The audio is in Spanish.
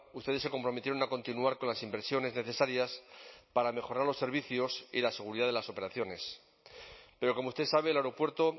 ustedes se comprometieron a continuar con las inversiones necesarias para mejorar los servicios y la seguridad de las operaciones pero como usted sabe el aeropuerto